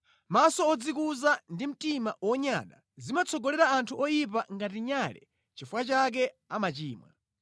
Maso odzikuza ndi mtima wonyada, zimatsogolera anthu oyipa ngati nyale nʼchifukwa chake amachimwa.